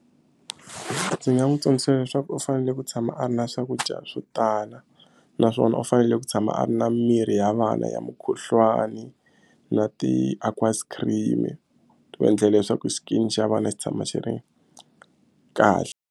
Ndzi nga n'wi tsundzuxa leswaku u fanele ku tshama a ri na swakudya swo tala naswona u fanele ku tshama a ri na mirhi ya vana ya mukhuhlwani na ti-aqueous cream ku endlela leswaku skin xa vana xi tshama xi ri kahle.